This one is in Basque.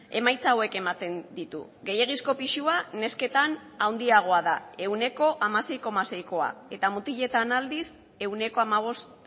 emaitza hauek ematen ditu gehiegizko pisua nesketan handiagoa da ehuneko hamasei koma seikoa eta mutiletan aldiz ehuneko hamabost